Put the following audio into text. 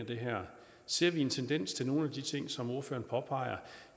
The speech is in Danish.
det her ser vi en tendens til nogle af de ting som ordføreren påpeger